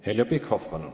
Heljo Pikhof, palun!